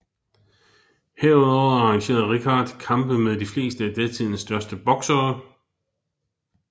Herudover arrangerede Rickard kampe med de fleste af tidens største boksere